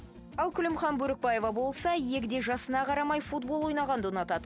ал күлімхан бөрікбаева болса егде жасына қарамай футбол ойнағанды ұнатады